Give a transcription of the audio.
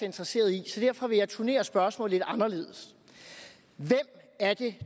interesseret i så derfor vil jeg turnere spørgsmålet lidt anderledes hvem er det